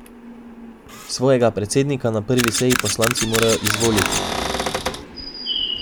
Svojega predsednika na prvi seji poslanci morajo izvoliti.